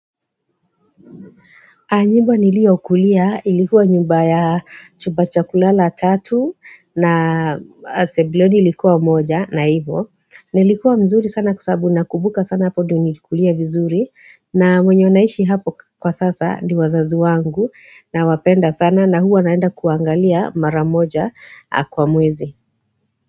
Anjimba niliyokulia, ilikuwa nyumba ya chuba chakulala tatu na sebleni ilikuwa moja na ivo. Nilikuwa mzuri sana kwa sababu na kubuka sana hapo dio nilikulia vizuri na mwenye wanaishi hapo kwa sasa ni wazazi wangu na wapenda sana na huwa naenda kuangalia maramoja kwa mwezi.